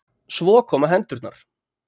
Svo koma hendurnar.